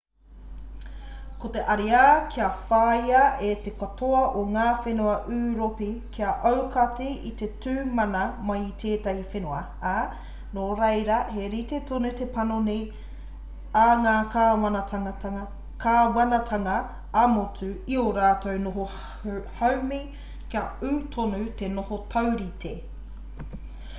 ko te ariā kia whāia e te katoa o ngā whenua ūropi kia aukati i te tū mana mai o tētahi whenua ā nō reira he rite tonu te panoni a ngā kāwanatanga ā-motu i ō rātou noho haumi kia ū tonu te noho taurite